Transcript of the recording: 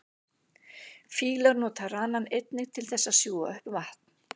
Fílar nota ranann einnig til þess að sjúga upp vatn.